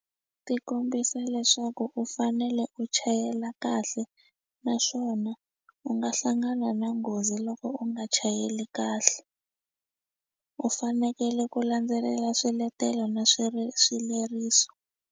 Ti kombisa leswaku u fanele u chayela kahle naswona u nga hlangana na nghozi loko u nga chayeli kahle u fanekele ku landzelela swiletelo na swileriso.